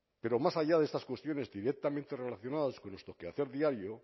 pero más allá de estas cuestiones directamente relacionadas con nuestro quehacer diario